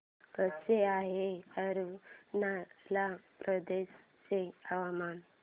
कसे आहे अरुणाचल प्रदेश चे हवामान